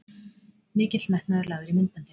Mikill metnaður lagður í myndböndin